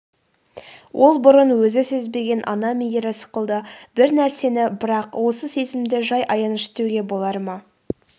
ол бұрын өзі сезбеген ана мейірі сықылды бір нәрсе-ді бірақ осы сезімді жай аяныш деуге болар ма